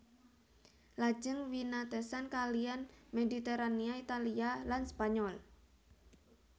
Lajeng winatesan kaliyan Mediterania Italia lan Spanyol